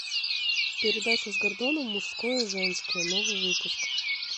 передача с гордоном мужское женское новый выпуск